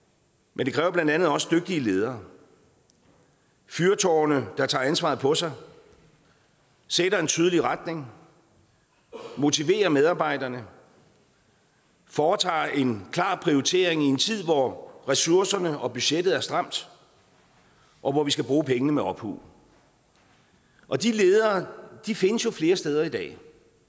men det kræver blandt andet også dygtige ledere fyrtårne der tager ansvaret på sig sætter en tydelig retning motiverer medarbejderne foretager en klar prioritering i en tid hvor ressourcerne og budgettet er stramt og hvor vi skal bruge pengene med omhu og de ledere findes jo flere steder i dag